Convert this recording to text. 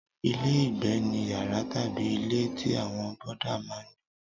Ilé-ìgbé ni yàrá tàbí ilé tí àwọn bọ́dà máa ń gbé.